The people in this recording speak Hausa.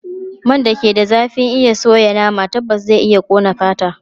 Man da ke da zafin iya soya nama tabbas zai iya ƙone fata.